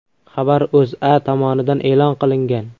Xabar O‘zA tomonidan e’lon qilingan .